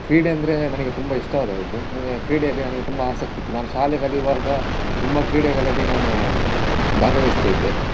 ಕ್ರೀಡೆ ಅಂದ್ರೆ ನನಗೆ ತುಂಬ ಇಷ್ಟವಾದದ್ದು. ನನಗೆ ಕ್ರೀಡೆಯಲ್ಲಿ ನನಗೆ ತುಂಬ ಆಸಕ್ತಿ ಇತ್ತು ನಾನು ಶಾಲೆ ಕಲಿಯುವಾಗ ತುಂಬ ಕ್ರೀಡೆಗಳಲ್ಲಿ ನಾನು ಭಾಗವಹಿಸ್ತಾ ಇದ್ದೆ.